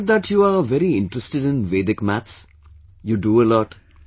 I have heard that you are very interested in Vedic Maths; you do a lot